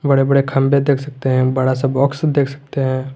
बड़े बड़े खंभे देख सकते हैं बड़ा सा बॉक्स देख सकते हैं।